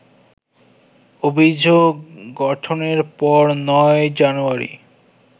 অভিযোগ গঠনের পর ৯ জানুয়ারি